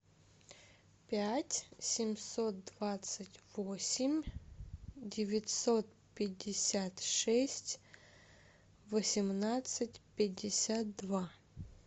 пять семьсот двадцать восемь девятьсот пятьдесят шесть восемнадцать пятьдесят два